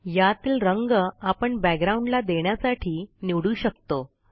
यातील रंग आपण बॅकग्राउंड ला देण्यासाठी निवडू शकतो